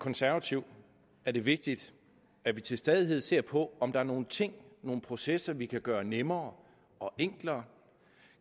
konservativ er det vigtigt at vi til stadighed ser på om der er nogle ting nogle processer vi kan gøre nemmere og enklere